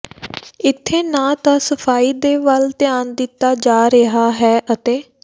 ਇੱਥੇ ਨਾ ਤਾਂ ਸਫਾਈ ਦੇ ਵੱਲ ਧਿਆਨ ਦਿੱਤਾ ਜਾ ਰਿਹਾ ਹੈ ਅਤੇ